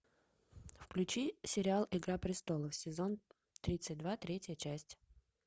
включи сериал игра престолов сезон тридцать два третья часть